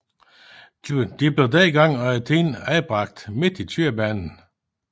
De blev dengang undertiden anbragte midt i kørebanen